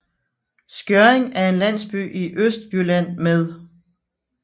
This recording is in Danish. Skjørring er en landsby i Østjylland med